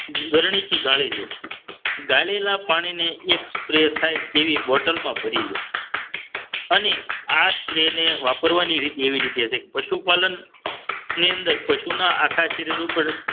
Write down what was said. ગરણી થી ગાળીલો ગાળેલા પાણીને એકમઃ spray થાય તેવી બોટલમાં ભરી લે અને આ સ્ત્રીને વાપરવાની રીત એવી રીતે છે પશુપાલન ની અંદર પશુના આખા શરીર ઉપર